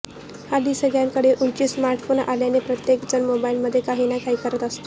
हल्ली सगळ्यांकडे उंची स्मार्ट फोन आल्याने प्रत्येक जण मोबाइलमध्ये काही ना काही करत असतो